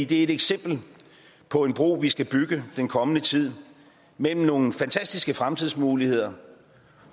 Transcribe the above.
det er et eksempel på en bro vi skal bygge den kommende tid mellem nogle fantastiske fremtidsmuligheder